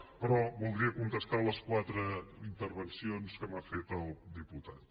però voldria contestar les quatre intervencions que m’ha fet el diputat